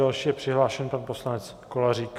Další je přihlášen pan poslanec Kolařík...